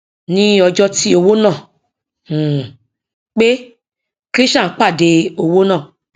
ní ọjọ tí owó náà um pé krishan pàdé owó náà